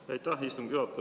Aitäh, istungi juhataja!